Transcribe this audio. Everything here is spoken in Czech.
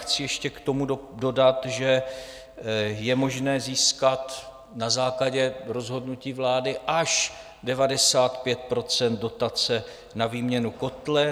Chci ještě k tomu dodat, že je možné získat na základě rozhodnutí vlády až 95 % dotace na výměnu kotle.